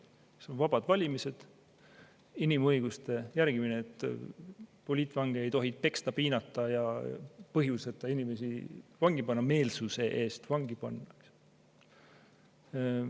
Need on vabad valimised, inimõiguste järgimine, et poliitvange ei tohi peksta, piinata ja põhjuseta inimesi vangi panna, meelsuse eest vangi panna.